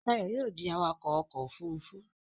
Shayo yóò dì awakọ ọkọ òfurufú.